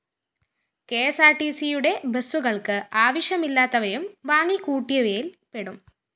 കെഎസ്‌ആര്‍ടിസിയുടെ ബസ്സുകള്‍ക്ക്‌ ആവശ്യമില്ലാത്തവയും വാങ്ങിക്കൂട്ടിയവയില്‍ പെടും